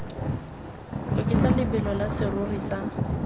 oketsa lebelo la serori sa